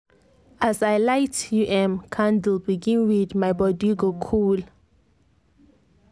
as i light um candle begin read my body go cool.